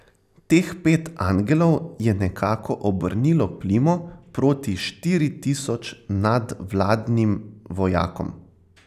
Teh pet angelov je nekako obrnilo plimo proti štiri tisoč nadvladnim vojakom.